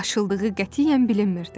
Aşıldığı qətiyyən bilinmirdi.